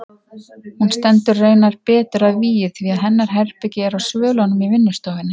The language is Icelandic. Hún stendur raunar betur að vígi því hennar herbergi er á svölunum í vinnustofunni.